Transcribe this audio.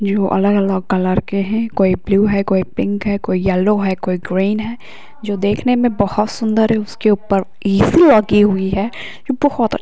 जो अलग अलग कलर के है कोई ब्लू है कोई पिंक है कोई येल्लो है कोई ग्रीन है जो देखने में बहुत सुन्दर है| उसके ऊपर एसी लगी हुए है | जो बहोत अच्छी --